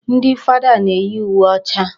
Ndị fada na-eyi uwe ọcha.